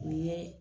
U ye